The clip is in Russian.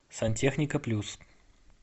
сантехника плюс